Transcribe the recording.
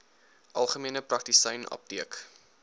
algemene praktisyn apteek